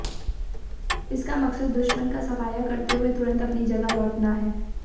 इसका मकसद दुश्मन का सफाया करते हुए तुरंत अपनी जगह लौटना है